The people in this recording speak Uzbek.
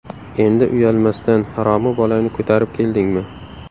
Endi uyalmasdan, haromi bolangni ko‘tarib keldingmi?!”.